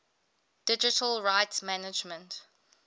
digital rights management